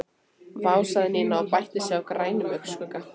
Vá sagði Nína og bætti á sig grænum augnskugga.